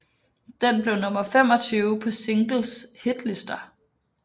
Den blev nummer 25 på singles hitlister